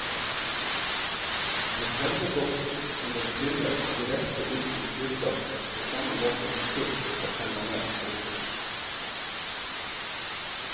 Reserveboksen kunne trimmes direkte inn til fyrplassen på samme måte som kull fra permanent bunkers.